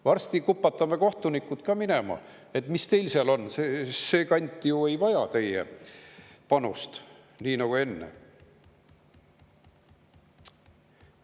Varsti kupatame kohtunikud ka minema, et mis teil seal on, see kant ju ei vaja teie panust nii nagu kunagi enne.